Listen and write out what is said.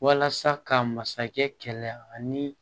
Walasa ka masakɛ kɛlɛ ani